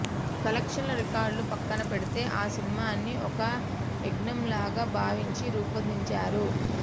కలెక్షన్ల రికార్డులు ప్రక్కన పెడితే ఆ సినిమాని ఒక యజ్ఞంలాగా భావించి రూపొందించారు